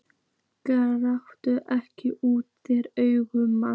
Gláptu ekki úr þér augun, maður.